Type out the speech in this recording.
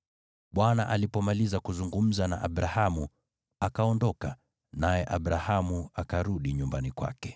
Bwana alipomaliza kuzungumza na Abrahamu, akaondoka, naye Abrahamu akarudi nyumbani kwake.